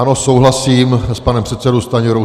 Ano, souhlasím s panem předsedou Stanjurou.